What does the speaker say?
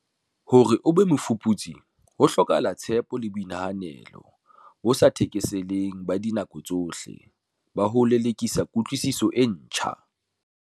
Hore o be mofuputsi ho hlokahala tshepo le boinehelo bo sa thekeseleng ba dinako tsohle ba ho lelekisa kutlwisiso e ntjha.